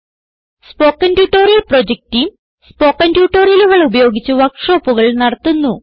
spoken tutorial project team spoken ട്യൂട്ടോറിയലുകൾ ഉപയോഗിച്ച് വർക്ക് ഷോപ്പുകൾ നടത്തുന്നു